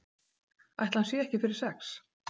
Ætli hann sé ekki fyrir sex?